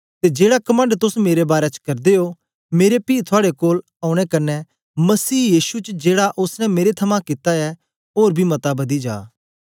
ते जेड़ा कमंड तोस मेरे बारै च करदे ओ मेरे पी थुआड़े कोल औने कन्ने मसीह यीशु च जेड़ा ओसने मेरे थमां कित्ता ऐ ओर बी मता बदी जा